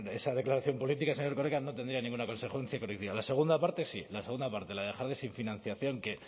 esa declaración política señor erkoreka no tendría ninguna consecuencia jurídica la segunda parte sí la segunda parte la de dejar sin financiación que